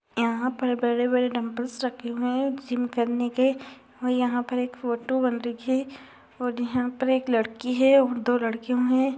यहाँ पर बड़े-बड़े डम्बल रखे हुए हैं। जिम करने के और यहाँं पर एक फोटो बंदे की है और यहाँ पर एक लड़की है दो लड़कियों मे।